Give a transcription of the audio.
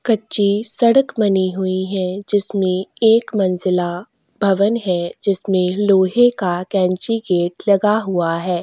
कच्ची सड़क बनी हुई है जिसमें एक मंजिला पवन है जिसमे लोहे का कैंचिगेट लगा हुआ है।